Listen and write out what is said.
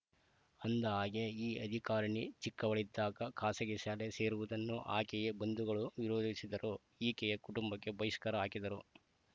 ಅಂದಹಾಗೆ ಈ ಅಧಿಕಾರಿಣಿ ಚಿಕ್ಕವಳಿದ್ದಾಗ ಖಾಸಗಿ ಶಾಲೆ ಸೇರುವುದನ್ನು ಆಕೆಯೆ ಬಂಧುಗಳು ವಿರೋಧಿಸಿದ್ದರು ಈಕೆಯ ಕುಟುಂಬಕ್ಕೆ ಬಹಿಷ್ಕಾರ ಹಾಕಿದರು